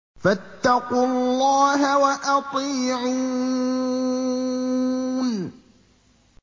فَاتَّقُوا اللَّهَ وَأَطِيعُونِ